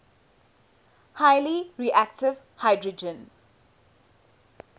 highly reactive hydrogen